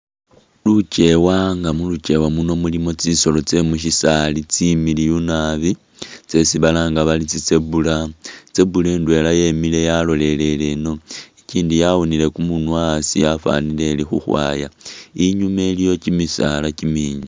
Lukyewa nga mulukyewa muno mulimo tsisolo tse mushisaali tsimiliyu naabi tsesi balanga bari tsi zebra, zebra itwela yemile yalolele ino igyindi yawunile kumunwa hasi yafalile ili khukhwaya inyuma iliyo kimisaala kimingi.